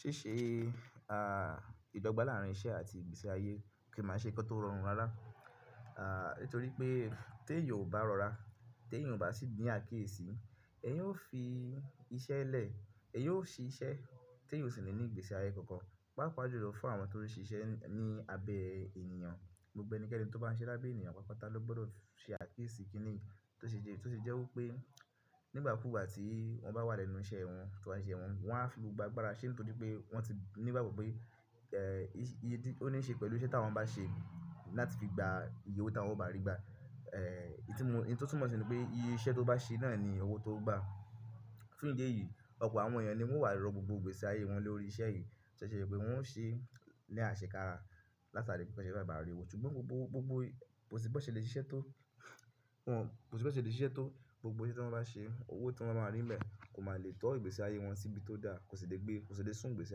Ṣi ṣe, ìdọ́gba làárín iṣẹ́ àti ìgbésí ayé kiì ma n ṣe nkan tó rọrùn rárá. Nítorí pé tí èèyan ò bá rọra, tí èèyàn ò bá sì ni àkíyèsí, èèyàn ó fi iṣẹ́ lẹ̀, èèyàn ó ṣiṣẹ́ tí èèyàn kò sì ní ní ìgbésí ayé kankan. Páapá jùlọ fún àwọn tó ń ṣiṣẹ́ ní abẹ́ ènìyàn, gbogbo ẹnikẹ́ni tó bá ń siṣe lábẹ́ ènìyàn paapata ló gbọ́dọ̀ ṣe àkíyèsí kíni, tó sì jẹ́, tó sì jẹ́ wí pé. Nígbà kúugbà tí wọ́n bá wà lẹ́nu iṣẹ́ wọn, tan bá n ṣise wọn, wọ́n á fi gbogbo agbára ṣe nítorí pé wọ́n ti ní ìgbábo pé, iye tí ó ní í ṣe pẹ̀lú iṣẹ́ tí wọ́n bá ṣe láti fi gba ìyè owó ta wọ́n ó bá rí gbà. Ìtumo, ohun tí ó tún mọ̀ sí ní pé iye iṣẹ́ tó bá ṣe náà ni owó to ó gba. Fún ìdí èyí, ọ̀pọ̀ àwọn èèyàn ni wọ́n wà ró gbogbo ìgbésí ayé wọn lórí iṣẹ́ yìí. To si ṣe pé wọn ó ṣe ní àṣekára látàrí pé bi won bá rí owó. Ṣùgbọ́n gbogbo, gbogbo, kò sì pé ó ṣe le ṣiṣẹ́ tó, wọ́n, kò sì pé ó ṣe le ṣiṣẹ́ tó, gbogbo iṣẹ́ tí wọ́n bá ṣe, owó tí wọ́n máa bá rí ń bẹ kò máa le tọ ìgbésí ayé wọn síbi tó dáa. Kò sì le gbé, kò sì le sùn ìgbésí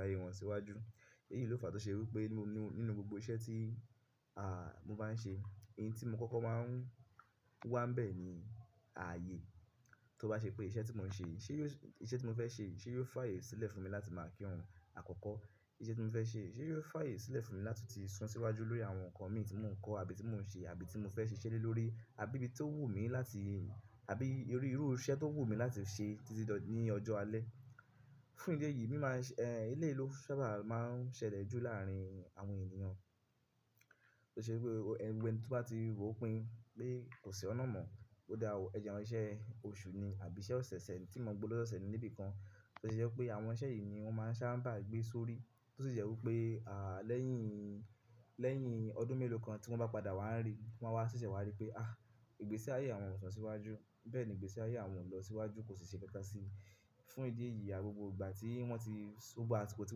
ayé wọn síwájú. Èyíi ló fàá tó ṣe wí pé nínú gbogbo iṣẹ́ tí mo bá ń ṣe, n tí mo kọ́kọ́ máa ń wá ń bẹ̀ ni ààyè tó bá ṣe pé iṣẹ́ tí mò ń ṣe yìí, ṣé yó, iṣẹ́ tí mò ń fẹ́ ṣe yìí ṣé yóò fáàyè sílẹ̀ fún mi láti máa kírun àkọ́kọ́. Iṣẹ́ tí mò fẹ́ ṣe yìí ṣé yóò fá ààyè sílẹ̀ fún mi láti ti sún síwájú lórí àwọn nǹkan mii tí mò ń kọ́ àbí tí mò ń ṣe àbí tí mò ń fẹ́ ṣiṣẹ́ lẹ́ lórí i àbí bí tí ó wù mí láti, àbí irú iru iṣẹ́ tó wù mí láti ṣe títí do ní ọjọ́ alẹ́. Fún ìdí èyí, mi máa ń ṣe, eleyi ló sábà máa ń ṣẹlẹ̀e jù láàárín àwọn ènìyàn. Tó ṣe wípé ẹni gbogbo tó bá ti ròpin pé kò sí ọ̀nà mọ̀, ó dáa ò, ẹ jẹ n siṣẹ́ oṣù ni àbí iṣẹ́ ọ̀sẹ̀eṣẹ́ ẹni tí mọ̀ gbówo ló ṣẹeṣẹ níbì kan. Tó se jẹ́ pé àwọn iṣẹ́ yìí ni wọ́n máa ń sábà gbé sórí. Tó sì jẹ́ wí pé, lẹ́yìn, lẹ́yìn ọdún mélòó kan tí wọ́n bá padà wá ríi, wọ́n a wáa ṣẹ̀ṣẹ̀ wá rí pé ah! Ìgbésí ayé àwọn ò sun síwájú, bẹ́ẹ̀ ni ìgbésí ayé àwọn ò lọ síwájú kò sì ṣe nkankan si. Fún ìdí èyí, à gbogbo ìgbà tí wọ́n ti, gbogbo àsìkò tí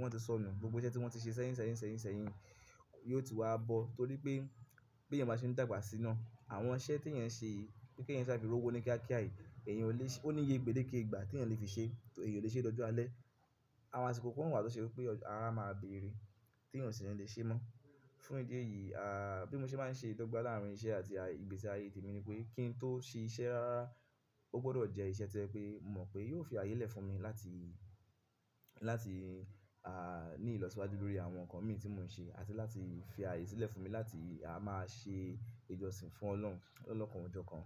wọ́n ti sọnù, gbogbo iṣẹ́ tí wọ́n ti ṣe sẹ́yìn, sẹ́yìn, sẹ́yìn, sẹ́yìn. Yóò ti wá bọ̀ torí pé bí èèyàn bá ṣe ń dàgbà sí naá, àwọn iṣẹ́ tí èèyàn n ṣe yìí, pe keeyàn ṣàa fí rowọ́ ni kíákíá yìí, èèyàn ò le, ò ní iye gbẹ́deke ìgbà tí èèyàn lè fi ṣe, èèyàn ò le ṣe é dọ́jọ́ alẹ́. Àwọn àsìkò kan wà tó ṣe wípé ara máa bèrè, tí èèyàn sì lè le ṣe mọ́. Fún ìdí èyí, bí mo ṣe bá ń ṣe ìdọ́gba láàárín iṣẹ́ àti ìgbésí ayé tèmi ni pé, kí n tó ṣe iṣẹ́ rara, ó gbọ́dọ̀ jẹ́ iṣẹ́ to jẹ pé mò mọ̀ pé yóò fi ààyè lẹ́ fún mi láti, láti, ní ìlọsíwájú lórí àwọn ǹkan mìí tí mo ń ṣe àti láti fi àyè sílẹ̀ fún mi láti a máa ṣe ìjọsìn fún ọlọ́run lolokan o jokan.